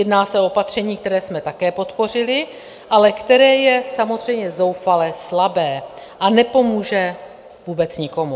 Jedná se o opatření, které jsme také podpořili, ale které je samozřejmě zoufala slabé a nepomůže vůbec nikomu.